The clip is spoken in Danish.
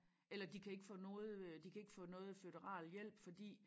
Eller de kan ikke få noget øh de kan ikke få noget føderal hjælp fordi